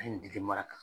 A ye n dege mara kan